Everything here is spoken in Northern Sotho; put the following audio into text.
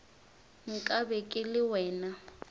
nka be ke le wena